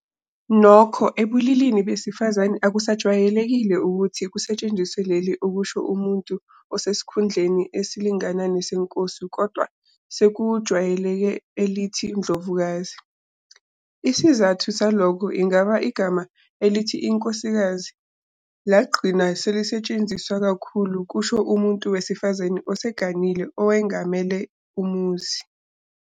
Nokho ebulilini besifazane akusajwayelekile ukuthi kusetshenziswe leli ukusho umuntu osesikhundleni esilingana nesenkosi kodwa sekuhwayeleke elithi "Ndlovukazi". Isizathu salokho ingaba igama elithi inkosikazi lagcina selisetshenziswa kakhulu ukusho umuntu wesifazane oseganile owengamele umuzi.